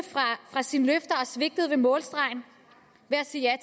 fra sine løfter og svigtede ved målstregen ved at sige ja